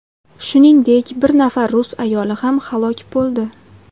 Shuningdek, bir nafar rus ayoli ham halok bo‘ldi.